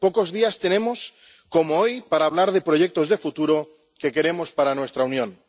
pocos días tenemos como hoy para hablar de proyectos de futuro que queremos para nuestra Unión.